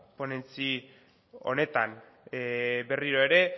ponentzia honetan berriro ere